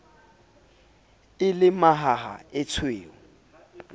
e le e mahaha etshweu